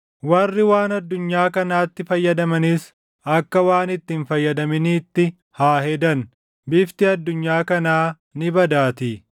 warri waan addunyaa kanaatti fayyadamanis akka waan itti hin fayyadaminiitti haa hedan. Bifti addunyaa kanaa ni badaatii.